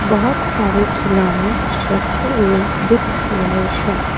बहोत सारे खिलौने रखे हुए दिख रहे हैं।